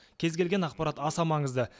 кез келген ақпарат аса маңызды